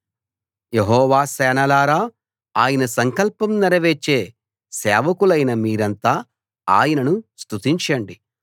యెహోవా సేనలారా ఆయన సంకల్పం నెరవేర్చే సేవకులైన మీరంతా ఆయనను స్తుతించండి